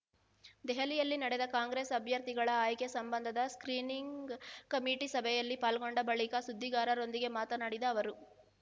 ದೆಹಲಿಯಲ್ಲಿ ನಡೆದ ಕಾಂಗ್ರೆಸ್ ಅಭ್ಯರ್ಥಿಗಳ ಆಯ್ಕೆ ಸಂಬಂಧದ ಸ್ಕ್ರೀನಿಂಗ್ ಕಮಿಟಿ ಸಭೆಯಲ್ಲಿ ಪಾಲ್ಗೊಂಡ ಬಳಿಕ ಸುದ್ದಿಗಾರರೊಂದಿಗೆ ಮಾತನಾಡಿದ ಅವರು